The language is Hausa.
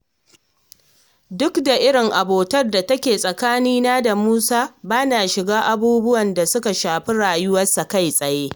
Duk da irin abotar da take tsakanina da Musa, ba na shiga abubuwan da suka shafi rayuwarsa kai-tsaye